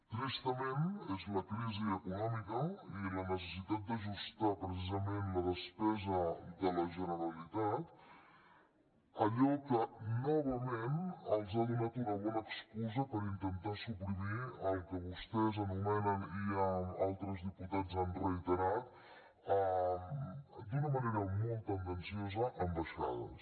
tristament és la crisi econòmica i la necessitat d’ajustar precisament la despesa de la generalitat allò que novament els ha donat una bona excusa per intentar suprimir el que vostès anomenen i altres diputats han reiterat d’una manera molt tendenciosa ambaixades